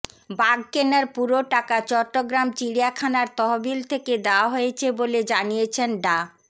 বাঘ কেনার পুরো টাকা চট্টগ্রাম চিড়িয়াখানার তহবিল থেকে দেওয়া হয়েছে বলে জানিয়েছেন ডা